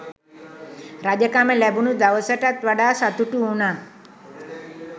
රජකම ලැබුණු දවසටත් වඩා සතුටු වුනා.